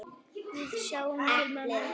Við sjáum til, mamma.